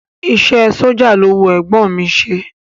Iṣẹ́ ẹ sójà ló wu ẹ̀gbọ́n ọ̀n mi i ṣe